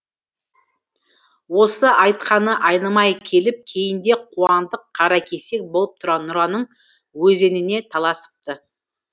осы айтқаны айнымай келіп кейінде қуандық қаракесек болып нұраның өзеніне таласыпты